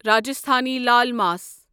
Rajasthani laal ماس